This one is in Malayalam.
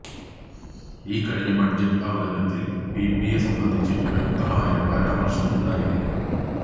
ഈ കഴിഞ്ഞ ബഡ്ജറ്റ് അവതരണത്തില് പിപിപിയെ സംബന്ധിച്ച് വ്യക്തമായ പരാമര്ശം ഉണ്ടായിരുന്നു